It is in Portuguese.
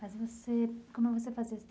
Mas você como você fazia isso?